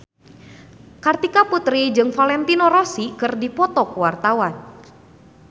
Kartika Putri jeung Valentino Rossi keur dipoto ku wartawan